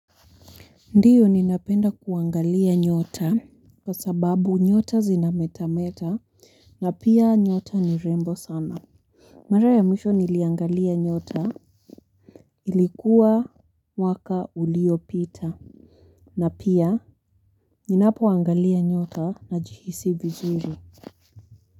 Ndiyo ninapenda kuangalia nyota kwa sababu nyota zinameta meta na pia nyota ni rembo sana. Mara ya mwisho niliangalia nyota ilikuwa mwaka uliopita na pia ninapoangalia nyota najihisi vizuri.